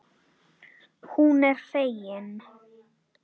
Hún er fegin.